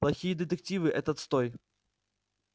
плохие детективы этот стой